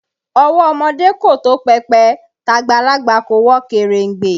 Ọwọ́ ọmọdé kò tó pẹpẹ, tàgbàlagbà kò wọ kèrèǹgbè